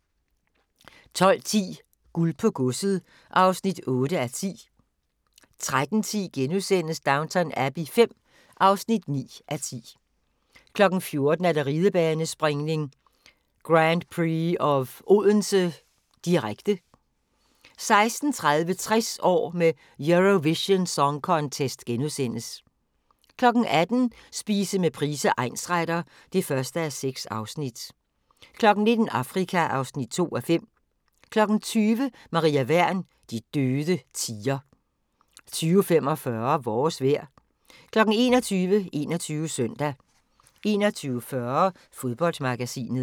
12:10: Guld på godset (8:10) 13:10: Downton Abbey V (9:10)* 14:00: Ridebanespringning: Grand Prix of Odense, direkte 16:30: 60 år med Eurovision Song Contest * 18:00: Spise med Price, egnsretter (1:6) 19:00: Afrika (2:5) 20:00: Maria Wern: De døde tier 20:45: Vores vejr 21:00: 21 Søndag 21:40: Fodboldmagasinet